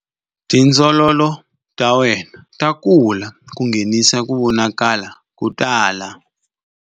Tindzololo ta wena ta kula ku nghenisa ku vonakala ko tala.